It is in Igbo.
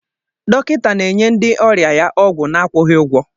Dọkịta na-enye ndị ọrịa ya ọgwụ na-akwụghị ụgwọ.